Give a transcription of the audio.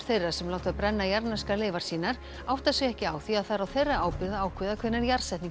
þeirra sem láta brenna jarðneskar leifar sínar átta sig ekki á því að það er á þeirra ábyrgð að ákveða hvenær